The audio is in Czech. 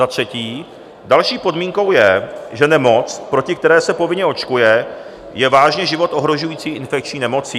Za třetí, další podmínkou je, že nemoc, proti které se povinně očkuje, je vážně život ohrožující infekční nemocí.